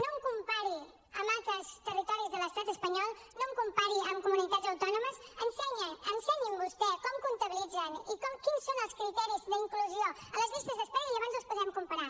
no em compari amb altres territoris de l’estat espanyol no em compari amb comunitats autònomes ensenyi’m vostè com comptabilitzen i quins són els criteris d’inclusió a les llistes d’espera i llavors les podrem comparar